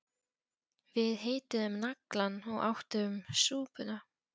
Við hituðum naglann og áttum súpuna